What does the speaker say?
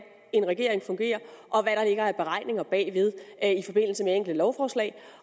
en regering fungerer og hvad der ligger af beregninger bag enkelte lovforslag